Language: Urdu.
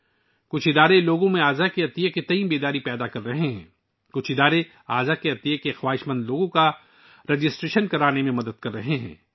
کچھ تنظیمیں لوگوں کو اعضا کے عطیات کے بارے میں آگاہی دے رہی ہیں، کچھ تنظیمیں اعضا عطیہ کرنے کے خواہشمند افراد کے اندراج میں مدد کر رہی ہیں